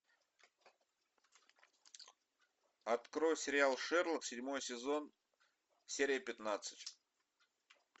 открой сериал шерлок седьмой сезон серия пятнадцать